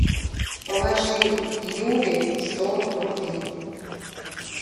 положи юле сто рублей